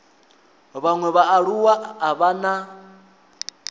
vhaṅwe vhaaluwa a vha na